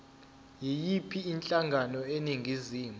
yiyiphi inhlangano eningizimu